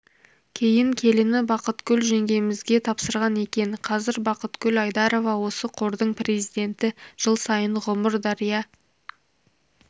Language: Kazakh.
кейін келіні бақытгүл жеңгемізге тапсырған екен қазір бақытгүл айдарова осы қордың президенті жыл сайын ғұмыр-дария